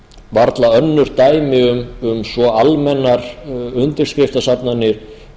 varla önnur dæmi um svo almennar undirskriftasafnanir